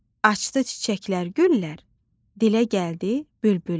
Açdı çiçəklər, güllər, dilə gəldi bülbüllər.